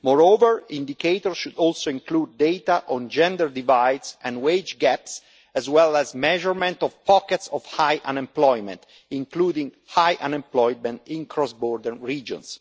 Moreover, indicators should also include data on gender divides and wage gaps, as well as the measurement of pockets of high unemployment, including high unemployment in cross border regions.